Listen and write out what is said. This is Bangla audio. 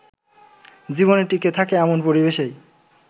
জীবন টিঁকে থাকে এমন পরিবেশেই